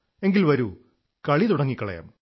എങ്കിൽ വരൂ കളി തുടങ്ങിക്കളയാം